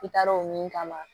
I taar'o min kama